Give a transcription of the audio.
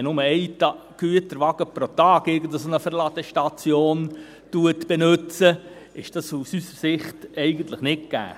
Wenn nur ein Güterwagen pro Tag irgendeine Verladestation benützt, ist das aus unserer Sicht nicht gegeben.